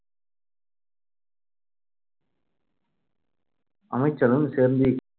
அமைச்சரும் சேர்ந்து